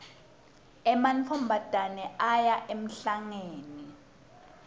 emantfombatane aya emhlangeni